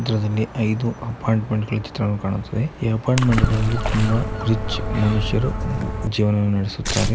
ಈ ಚಿತ್ರದಲ್ಲಿ ಐದು ಅಪಾರ್ಟ್ಮೆಂಟ್ ಚಿತ್ರಗಳು ಕಾಣಿಸುತ್ತವೆ. ಈ ಅಪಾರ್ಟ್ಮೆಂಟ್ ಗಳಲ್ಲಿ ತುಂಬಾ ರಿಚ್ ಮನುಷ್ಯರು ಜೀವನವನ್ನ ನಾಡಿಸುತ್ತಾರೆ.